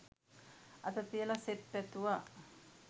අත තියලා සෙත් පැතුවා.